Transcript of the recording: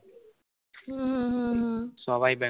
হু হু হু সবাই